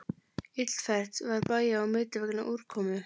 Illfært var bæja á milli vegna úrkomu